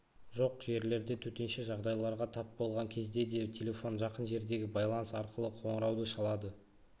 жоқ жерлерде төтенше жағдайларға тап болған кезде де телефон жақын жердегі байланыс арқылы қоңырауды шалады